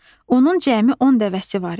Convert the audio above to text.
Onun cəmi 10 dəvəsi var idi.